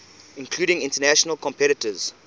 including international competitors